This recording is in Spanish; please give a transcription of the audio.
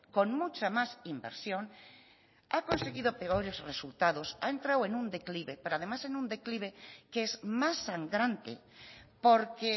con mucha más inversión ha conseguido peores resultados ha entrado en un declive pero además en un declive que es más sangrante porque